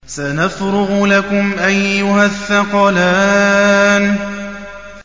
سَنَفْرُغُ لَكُمْ أَيُّهَ الثَّقَلَانِ